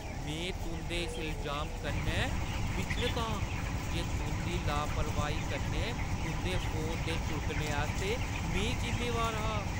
में तुंʼदे इस इलजाम कन्नै विचलत आं जे तुंʼदी लापरवाही कन्नै तुंʼदे फोन दे छुड़कने आस्तै में जिम्मेवार हा।